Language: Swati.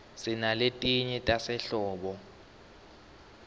sinaletinye tasehlobo